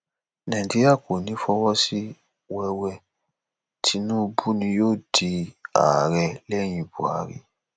nàìjíríà kò ní í fọ sí wẹwẹ tinubu ni yóò di ààrẹ lẹyìn buhari